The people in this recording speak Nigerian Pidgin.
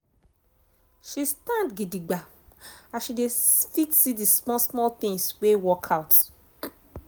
she stand gidigba as she dey fit see d small small tins wey work out.